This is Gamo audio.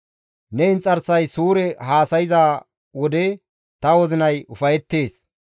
Ne inxarsay suure haasayza wode ta wozinay ufayettees.